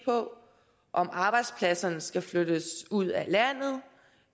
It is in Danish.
på om arbejdspladserne skal flyttes ud